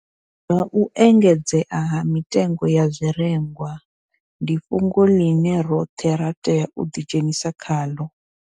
Zwa u engedzea ha mitengo ya zwirengwa ndi fhungo ḽine roṱhe ra tea u ḓidzhenisa khaḽo.